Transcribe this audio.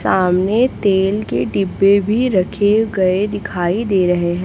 सामने तेल के डिब्बे भी रखे गए दिखाई दे रहे--